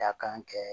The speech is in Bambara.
Dakan kɛ